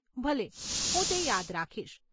ભલે, હું તે યાદ રાખીશ.